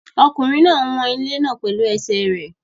Ọkùnrin náà ń wọn ilẹ̀ náà pẹ̀lú ẹsẹ̀ rẹ̀.